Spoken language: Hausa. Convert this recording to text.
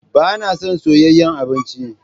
Ba na son soyayyen abinci.